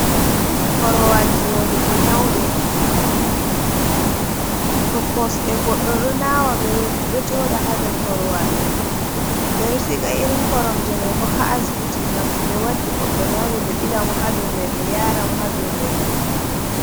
Korowal joɗugo nyawɓe, to kosɗe goɗɗo ɗo naawa ,ɓe ɗo jooɗa haa dow korowal .Ɓe ɗo siga irin koromje may bo haa asbiti ,ngam to ɓe waddi goɗɗo nyawɗo, ɓe ɓilamo haa dow may, ɓe yaara mo haa dow leeso.